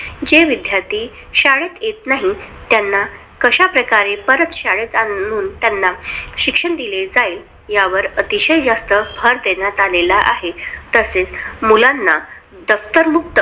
जे विद्यार्थी शाळेत येत नाहीत त्यांना कश्या प्रकारे परत शाळेत आणून शिक्षण दिले जाईल. या वर जास्त भर देण्यात आलेला आहे. तसेच मुलांना दप्तर मुक्त.